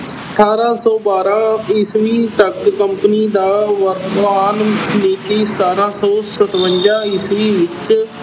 ਅਠਾਰਾਂ ਸੌ ਬਾਰਾਂ ਈਸਵੀ ਤੱਕ company ਦਾ ਸਤਾਰਾਂ ਸੌ ਸਤਵੰਜਾ ਈਸਵੀ ਵਿੱਚ